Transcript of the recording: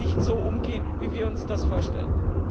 nicht so umgehen, wie wir uns das vorstellen.